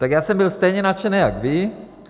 Tak já jsem byl stejně nadšený jako vy.